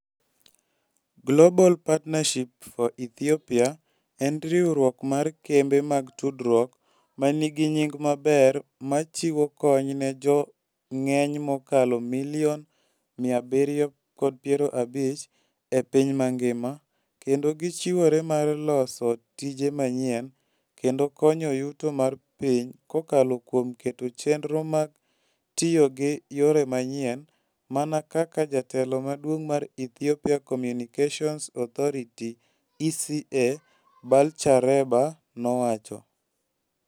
Global Partnership for Ethiopia en riwruok mar kembe mag tudruok ma nigi nying' maber ma chiwo kony ne jo ng'eny mokalo milion 750 e piny mangima kendo gichiwore mar loso tije manyien, kendo konyo yuto mar piny kokalo kuom keto chenro mag tiyo gi yore manyien, mana kaka Jatelo Maduong' mar Ethiopia Communications Authority (ECA) Balcha Reba nowacho.